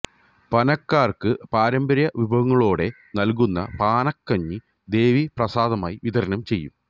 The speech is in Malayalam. പാനക്കാര്ക്ക് പാരമ്പര്യ വിഭവങ്ങളോടെ നല്കുന്ന പാനക്കഞ്ഞി ദേവീ പ്രസാദമായി വിതരണം ചെയ്യും